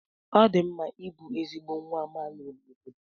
ọ dị mma ịbụ ezigbo nwa amaala n'obodo